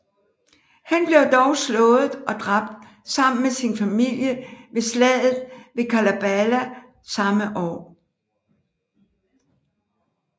Han blev dog slået og dræbt sammen med sin familie ved slaget ved Karbala samme år